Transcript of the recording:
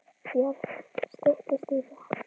Björn: Styttist í það?